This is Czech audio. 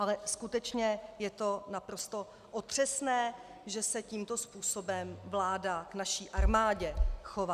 Ale skutečně je to naprosto otřesné, že se tímto způsobem vláda k naší armádě chová.